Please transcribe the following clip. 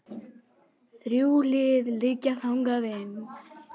Þrjú hlið liggja þangað inn.